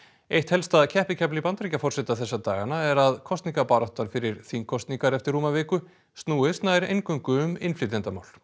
eitt helsta keppikefli Bandaríkjaforseta þessa dagana er að kosningabaráttan fyrir þingkosningar eftir rúma viku snúist nær eingöngu um innflytjendamál